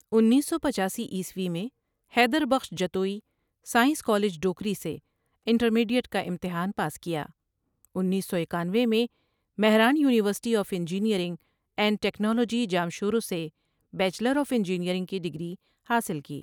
انیس سو پچاسی عیسوی میں حیدر بخش جتوئی سائنس کالج ڈوکری سے انٹرمیڈیٹ کا امتحان پاس کیا انیس سو اکانوے میں Mehran university of engineering and technology Jamshoro سے بیچلر آف انجینئرنگ کی ڈگری حاصل کی ۔